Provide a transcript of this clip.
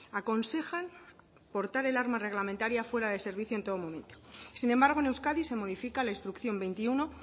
aconsejan portar el armar reglamentaria fuera de servicio en todo momento sin embargo en euskadi se modifica la instrucción veintiuno